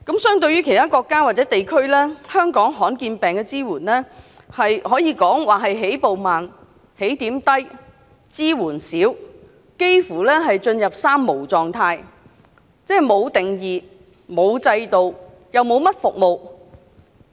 相對其他國家或地區，香港對罕見病的支援可以說是，起步慢、起點低、支援少，而且幾乎進入"三無"狀態，即沒有定義、沒有制度、沒有甚麼服務。